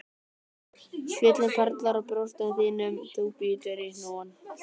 Svitinn perlar á brjóstum þínum þú bítur í hnúann,